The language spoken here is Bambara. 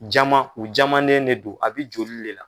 Jama u jamanen ne do a bɛ joli le la.